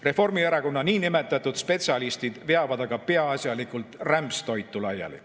Reformierakonna niinimetatud spetsialistid veavad aga peaasjalikult rämpstoitu laiali.